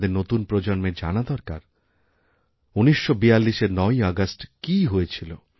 আমাদের নতুন প্রজন্মের জানাদরকার ১৯৪২এর ৯ই আগস্ট কী হয়েছিল